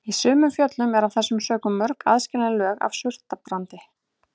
Í sumum fjöllum eru af þessum sökum mörg aðskilin lög af surtarbrandi.